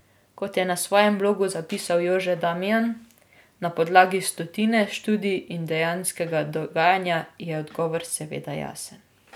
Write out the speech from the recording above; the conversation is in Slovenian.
Kot je na svojem blogu zapisal Jože Damijan: 'Na podlagi stotine študij in dejanskega dogajanja je odgovor seveda jasen.